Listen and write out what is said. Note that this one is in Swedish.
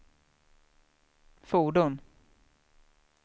fordon